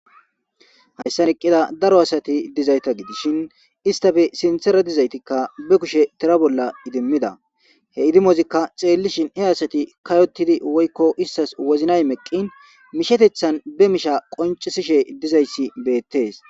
Hayissan eqida daro asati dizayita gidishshin istappe sinththara dizaytikka ba kushshe tra bolla idimida he idimozikka he asati kayotid woyikko wozinay meqin mishshetidi mishsheteththan be mishsha qoncisse dizayissi bettes